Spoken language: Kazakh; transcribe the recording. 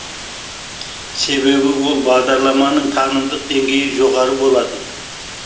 себебі ол бағдарламаның танымдық деңгейі жоғары болатын